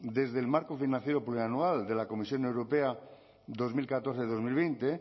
desde el marco financiero plurianual de la comisión europea dos mil catorce dos mil